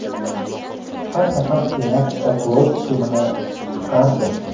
har safar Senat oqlov hukmini chiqardi.